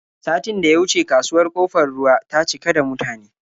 Satin da ya wuce kasuwar Ƙofar Ruwa ta cika da mutane.